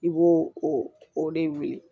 I b'o o o de wele